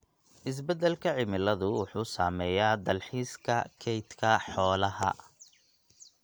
Isbeddelka cimiladu wuxuu saameeyaa dalxiiska kaydka xoolaha.